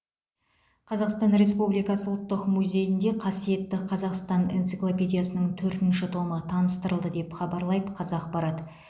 қазақстан республикасы ұлттық музейінде қасиетті қазақстан энциклопедиясының төртінші томы таныстырылды деп хабарлайды қазақпарат